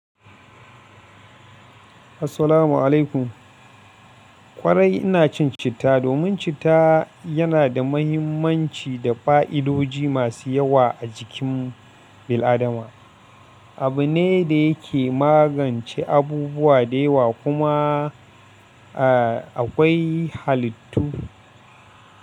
Assalamu'alaikum. Kwarai ina cin citta domin citta yana da mahimmanci da fa'idodi masu yawa a jikin bil'adama. Abu ne da yake magance abubuwa da yawa kuma, a, akwai halittu.